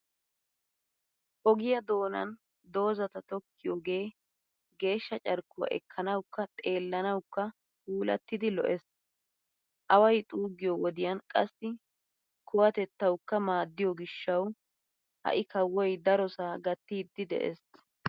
Ogiyaa doonan dozata tokkiyoogee geeshsha carkkuwa ekkanawukka xeelanawukka puulattidi lo'ees. Away xuuggiyo wodiyan qassi kuwatettawukka maaddiyoo gishshawu ha"i kawoy darosaa gattiiddi de'ees.